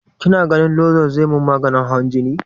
Kina ganin lozol zai min maganin hawan jini?